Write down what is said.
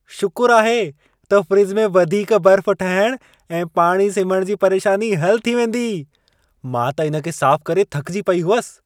शुकुर आहे त फ्रिज में वधीक बर्फ़ ठहण ऐं पाणी सिमहण जी परेशानी हलु थी वेंदी। मां त इन खे साफ़ करे थकिजी पेई हुअसि।